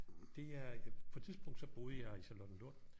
Det er på et tidspunkt så boede jeg i Charlottenlund